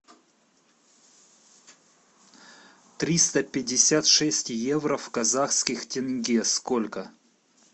триста пятьдесят шесть евро в казахских тенге сколько